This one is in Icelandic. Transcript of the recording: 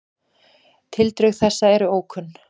Tildrög þessa eru ókunn.